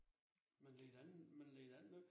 Men led da man led da ingen nød